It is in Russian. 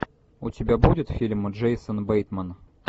у тебя будет фильм джейсон бейтман